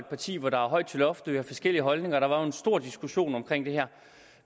parti hvor der er højt til loftet og forskellige holdninger og der var en stor diskussion om det her